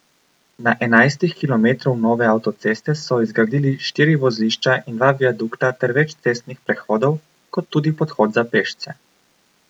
Na enajstih kilometrov nove avtoceste so izgradili štiri vozlišča in dva viadukta ter več cestnih prehodov, kot tudi podhod za pešce.